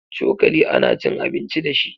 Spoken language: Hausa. Cokali ana cin abici dashi.